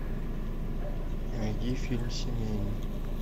найди фильм семейный